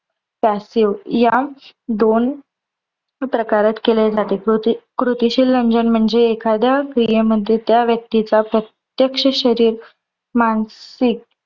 passive या दोन प्रकारात केले जाते. कृती कृतिशील रंजन म्हणजे एखाद्या क्रियेमध्ये त्या व्यक्तीचा प्रत्यक्ष शरीर मानसिक